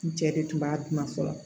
N cɛ de tun b'a dun fɔlɔ